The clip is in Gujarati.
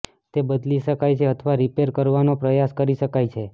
તે બદલી શકાય છે અથવા રિપેર કરવાનો પ્રયાસ કરી શકાય છે